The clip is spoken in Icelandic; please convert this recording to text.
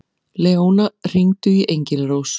Leóna, hringdu í Engilrós.